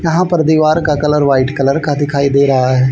यहां पर दीवार का कलर वाइट कलर का दिखाई दे रहा।